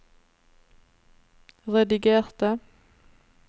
redigerte